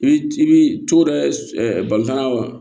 I bi i bi co dɔ bali kana wa